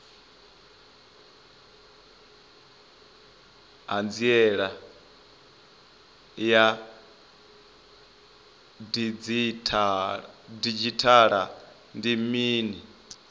hanziela ya didzhithala ndi mini